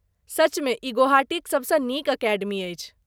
सचमे ई गुवाहाटीक सभसँ नीक अकेडमी अछि।